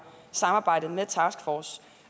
samarbejde med taskforcen